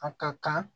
A ka kan